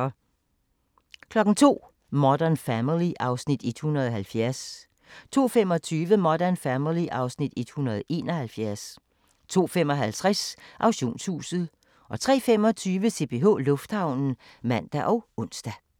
02:00: Modern Family (Afs. 170) 02:25: Modern Family (Afs. 171) 02:55: Auktionshuset 03:25: CPH Lufthavnen (man og ons)